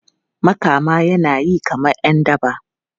Makama yana yi kamar ’yan daba.